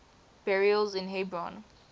burials in hebron